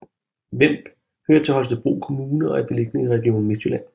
Vemb hører til Holstebro Kommune og er beliggende i Region Midtjylland